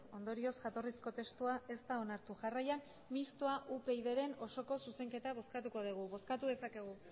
ondorioz jatorrizko testua ez da onartu jarraian mistoa upydren osoko zuzenketa bozkatuko dugu bozkatu dezakegu